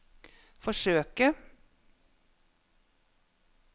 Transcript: forsøke